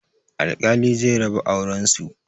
Alkali zai raba auren su